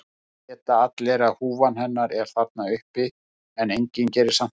Það vita allir að húfan hennar er þarna uppi en enginn gerir samt neitt.